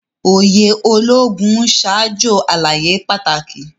Òye Ológùn n ṣajọ àlàyé pàtàkì.